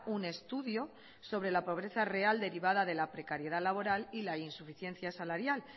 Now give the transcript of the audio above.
un estudio sobre la pobreza real derivada de la precariedad laboral y la insuficiencia salarial